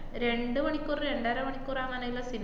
രണ്ട് മണിക്കൂർ രണ്ടര മണിക്കൂര്‍ അങ്ങനേള്ള സി~